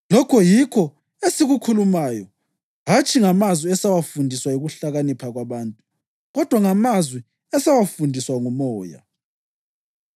Lokhu yikho esikukhulumayo, hatshi ngamazwi esawafundiswa yikuhlakanipha kwabantu kodwa ngamazwi esawafundiswa nguMoya.